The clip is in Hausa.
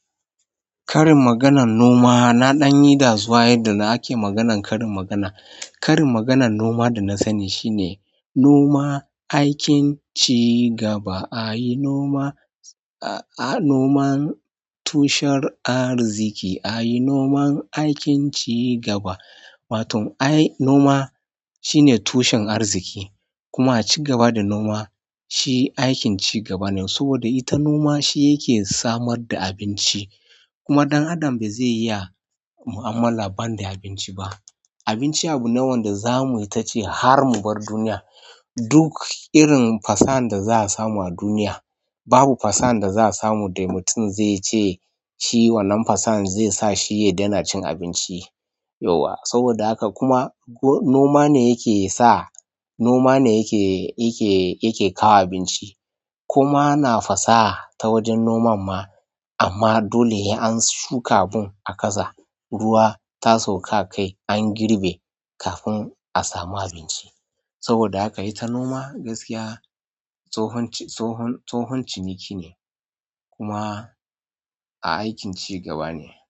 Ƙarin maganan noma na dan yida zuwa yadda ake maganan karin magana. Karin maganan noma da na sani shine noma aikin cigaba. A yi noma, a, a noman tushen arziki. A yi noman aikin cigaba. Waton ai noma shine tushen arziki kuma cigaba da noma shi aikin cigaba ne. Saboda ita noma shi yake samar da abinci kuma ɗan adam ba zai iya mu'amala ban da abinci ba. Abinci abune wanda zamuyi ta ci har mu bar duniya. Duk irin fasahan da za a samu a duniya, babu fasan da za a samu da mutum zai ce shi wannan fasan zai sa shi ya daina cin abinci. Yauwa, saboda haka kuma noma ne yake sa, noma ne yake, yake, yake kawo abinci. Kuma ana fasaha ta wajen noman ma amma dole in an shuka abun a ƙasa, ruwa ta sauka a kai an girbe kafin a samu abinci. Saboda haka ita noma gaskiya tsohon, tsohon, tsohon ciniki ne kuma a aikin cigaba ne.